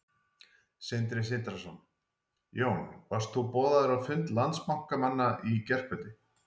Sindri Sindrason: Jón, varst þú boðaður á fund Landsbankamanna í gærkvöldi?